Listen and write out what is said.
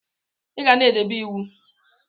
Iga na edebe iwu!!